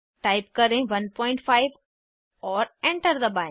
type करें 15 और enter दबाएं